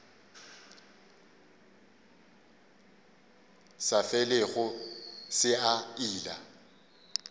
sa felego se a ila